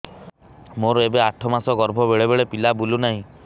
ମୋର ଏବେ ଆଠ ମାସ ଗର୍ଭ ବେଳେ ବେଳେ ପିଲା ବୁଲୁ ନାହିଁ